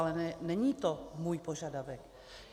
Ale není to můj požadavek.